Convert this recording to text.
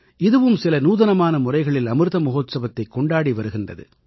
இதுவும் சில நூதனமான முறைகளில் அமிர்த மஹோத்சவத்தைக் கொண்டாடி வருகிறது